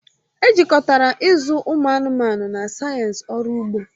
Ejikọtara ịzụ ụmụ anụmanụ na sayensị ọrụ ugbo